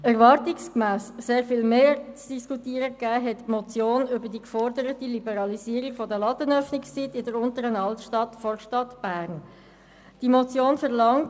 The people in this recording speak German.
Erwartungsgemäss hat die Motion über die geforderte Liberalisierung der Ladenöffnungszeiten in der Unteren Altstadt von Bern sehr viel mehr zu diskutieren gegeben.